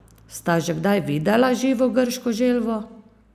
Sta že kdaj videla živo grško želvo?